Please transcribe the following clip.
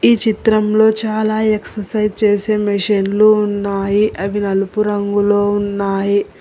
ఈ చిత్రంలో చాలా ఎక్ససైజ్ చేసే మిషన్లు ఉన్నాయి అవి నలుపు రంగులో ఉన్నాయి.